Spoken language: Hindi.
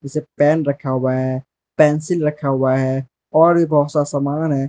पेन रखा हुआ है पेंसिल रखा हुआ है और भी बहोत सा समान है।